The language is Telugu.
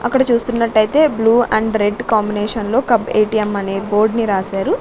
అక్కడ చూస్తున్నట్టయితే బ్లూ ఆండ్ రెడ్ కాంబినేషన్ లో కప్ ఏ_టీ_ఏం అనే బోర్డ్ ని రాసారు.